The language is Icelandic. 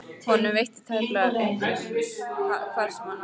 Honum veitti tæplega af uppörvun, hvar svo sem hann var.